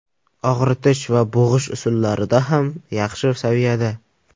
Og‘ritish va bo‘g‘ish usullarida ham yaxshi saviyada.